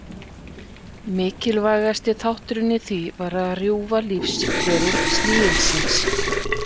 Mikilvægasti þátturinn í því var að rjúfa lífsferil sníkilsins.